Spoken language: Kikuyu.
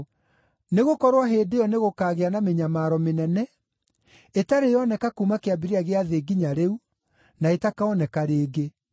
Nĩgũkorwo hĩndĩ ĩyo nĩgũkagĩa na mĩnyamaro mĩnene, ĩtarĩ yoneka kuuma kĩambĩrĩria gĩa thĩ nginya rĩu, na ĩtakooneka rĩngĩ.